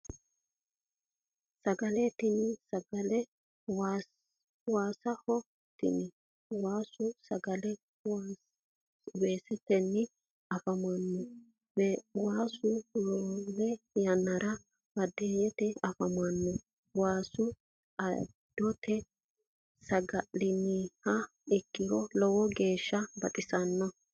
Sagale tini sagale waasaho tini waasu sagale weesetewiinni afi'neemmote waasu roore yannara baadiyyete afamanno waasa adotenni saga'linanniha ikkiro lowo geeshsha baxisanno